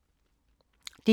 DR1